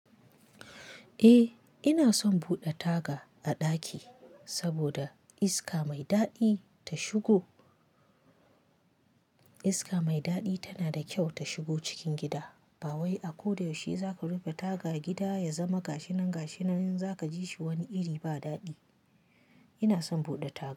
Eh ina son buɗe taga a ɗaki saboda iska mai daɗi ta shigo. Iska mai daɗi tana da kyau ta shigo cikin gida. Bawai a ko da yaushe za ku rufe taga gida ya zama gashinan-gashinan za ka ji shi wani iri ba daɗi. Ina son buɗe taga.